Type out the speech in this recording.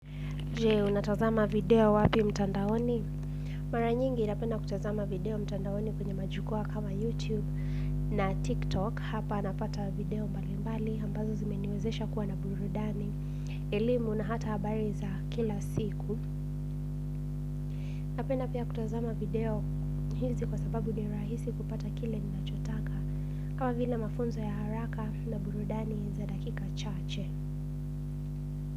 Je, unatazama video wapi mtandaoni? Mara nyingi napenda kutazama video mtandaoni kwenye majukua kama YouTube na TikTok. Hapa napata video mbali mbali, ambazo zimeniwezesha kuwa na burudani, elimu na hata habari za kila siku. Napenda pia kutazama video hizi kwa sababu ni rahisi kupata kile ninachotaka. Kama vile mafunzo ya haraka na burudani za dakika chache.